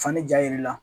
Fani ja yir'i la